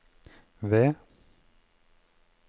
V